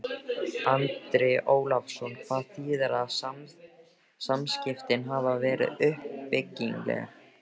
Andri Ólafsson: Hvað þýðir að samskiptin hafi verið uppbyggileg?